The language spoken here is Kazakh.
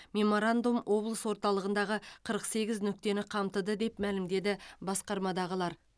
меморандум облыс орталығындағы қырық сегіз нүктені қамтыды деп мәлімдеді басқармадағылар